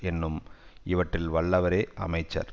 என்னும் இவற்றில் வல்லவரே அமைச்சர்